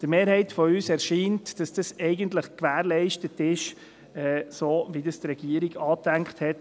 Der Mehrheit unserer Fraktion scheint, dass dies eigentlich gewährleistet ist, so, wie von der Regierung angedacht.